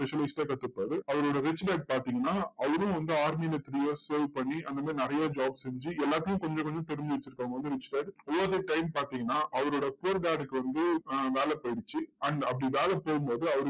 specialist ஆ கத்துக்குவாரு. அவரோட rich dad பாத்தீங்கன்னா, அவரும் வந்து army ல three years serve பண்ணி, அந்த மாதிரி நிறைய jobs செஞ்சு, எல்லாத்தையும் கொஞ்சம் கொஞ்சம் தெரிஞ்சு வச்சிருக்கவங்க வந்து, rich dad over the time பாத்தீங்கன்னா, அவரோட poor dad க்கு வந்து வேலை போயிடுச்சு. and அப்படி வேலை போகும்போது